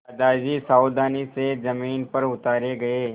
दादाजी सावधानी से ज़मीन पर उतारे गए